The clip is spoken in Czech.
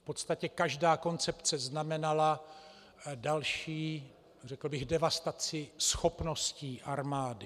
V podstatě každá koncepce znamenala další, řekl bych, devastaci schopností armády.